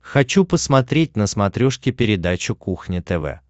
хочу посмотреть на смотрешке передачу кухня тв